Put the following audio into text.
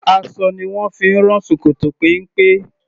Aṣọ ni wón fi ń rán ṣòkòtò péńpé.